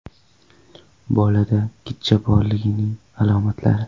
Bolada gijja borligining alomatlari.